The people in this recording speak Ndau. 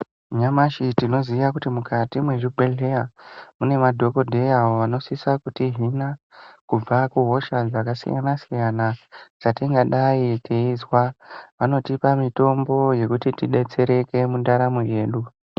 Nyamashi tinoziya kuti mukati mwezvibhehleya mune madhokodheya avo vanosisa kutihina kubva kuhosha dzakasiyana-siyana dzatingadai teizwa vanotipa mitombo yekuti tidetsereke mundaramo yedu.